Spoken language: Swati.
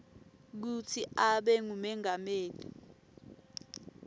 kutsi abe ngumengameli